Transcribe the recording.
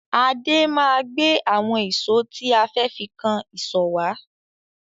Adé máa gbé àwọn ìṣó tí a fẹ́ fi kan ìsọ̀ wá.